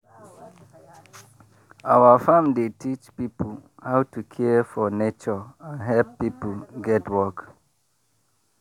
our farm dey teach people how to care for nature and help people get work.